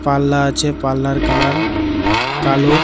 পাল্লা আছে পাল্লার কালার কালো .